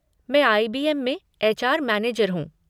मैं आई.बी.एम. में HR. Manager हूँ।